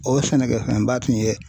O ye sɛnɛkɛ fɛnba tun ye.